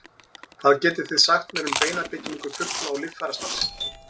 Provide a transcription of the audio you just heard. hvað getið þið sagt mér um beinabyggingu fugla og líffærastarfsemi